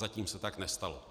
Zatím se tak nestalo.